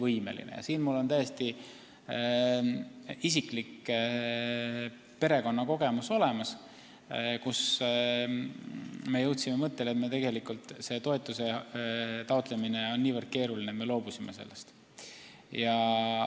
Mul on siin olemas täiesti isiklik perekondlik kogemus, kus me jõudsime mõttele, et toetuse taotlemine on niivõrd keeruline, et me loobusime sellest.